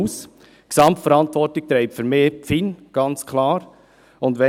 Die Gesamtverantwortung trägt für mich ganz klar die FIN.